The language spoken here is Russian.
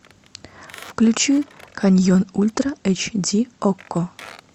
включи каньон ультра эйч ди окко